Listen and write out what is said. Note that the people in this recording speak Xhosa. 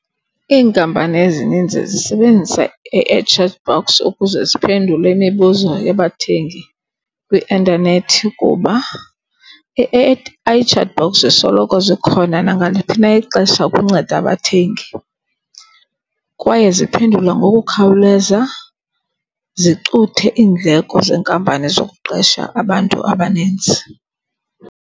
Iinkampani ezinintsi zisebenzisa A-I chatbots ukuze ziphendule imibuzo yabathengi kwi-intanethi kuba i-A_I chatbots zisoloko zikhona nangaliphi na ixesha ukunceda abathengi. Kwaye ziphendula ngokukhawuleza, zicuthe iindleko zenkampani zokuqesha abantu abaninzi.